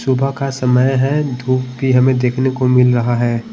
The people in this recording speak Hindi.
सुबह का समय है धूप भी हमें देखने को मिल रहा है।